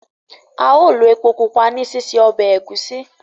ao lo èpò pupa ní sise Ọbẹ̀ Egusi